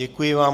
Děkuji vám.